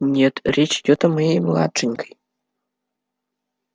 нет речь идёт о моей младшенькой